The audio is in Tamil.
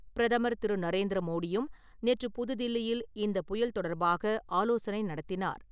பிரதமர் திரு. நரேந்திர மோடியும் , நேற்று புதுதில்லியில் இந்த புயல் தொடர்பாக ஆலோசனை நடத்தினார் .